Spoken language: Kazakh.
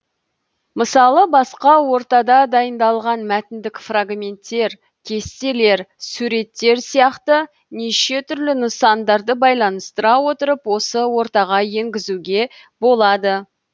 мысалы басқа ортада дайындалған мәтіндік фрагменттер кестелер суреттер сияқты неше түрлі нысандарды байланыстыра отырып осы ортаға енгізуге болады